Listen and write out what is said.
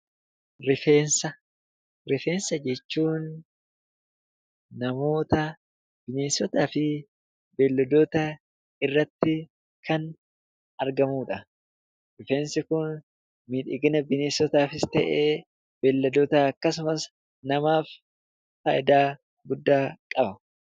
Rifeensa: Rifeensa jechuun namoota, bineensota fi beelladoota irratti kan argamudha. Rifeensi kun miidhagina bineensotaafis ta'ee beelladootaa akkasumas namaaf faayidaa guddaa qaba.